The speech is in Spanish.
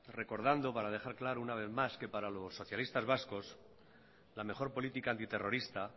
recordando para dejar claro una vez más que para los socialistas vascos la mejor política antiterrorista